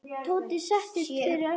Tóti settist fyrir aftan.